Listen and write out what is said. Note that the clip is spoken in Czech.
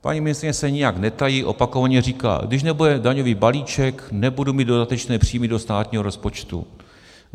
Paní ministryně se nijak netají, opakovaně říká: když nebude daňový balíček, nebudu mít dodatečné příjmy do státního rozpočtu.